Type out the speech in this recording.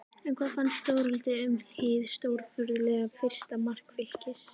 En hvað fannst Þórhildi um hið stórfurðulega fyrsta mark Fylkis?